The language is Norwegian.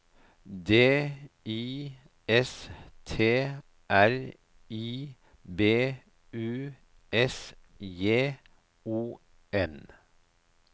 D I S T R I B U S J O N